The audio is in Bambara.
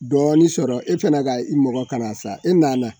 Dɔɔnin sɔrɔ e fana ka i mɔgɔ kana sa e nana